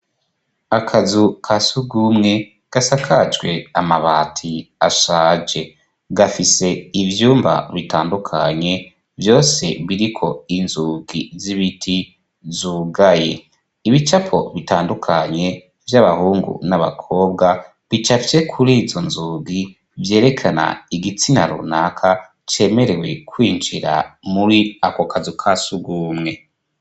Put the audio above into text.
Akazu ka surwumwe gasakajwe amabati ashaje. Gafise ivyumba bitandukanye, vyose biriko inzugi z'ibiti zugaye. Ibicapo bitandukanye vy'abahungu n'abakobwa, bicafye kur'izo nzugi. Vyerekana igitsina runaka cemerewe kwinjira muri ako kazu ka surwumwe.